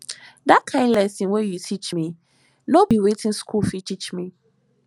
di kain lesson wey you teach me no be wetin skool fit teach me